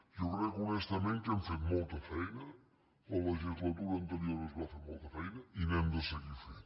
jo crec honestament que hem fet molta feina a la legislatura anterior es va fer molta feina i n’hem de seguir fent